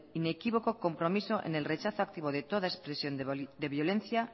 inequívoco compromiso en el rechazo activo de toda expresión de violencia